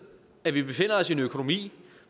at vi befinder os i en økonomi